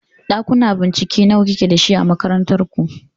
Ɗakuna bincike nawa kike dashi a makarantar ku?